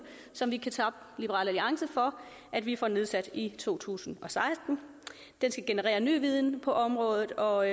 som vi kan takke liberal alliance for at vi får nedsat i to tusind og seksten den skal generere ny viden på området og